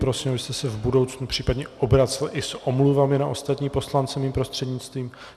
Prosím, abyste se v budoucnu případně obracel i s omluvami na ostatní poslance mým prostřednictvím.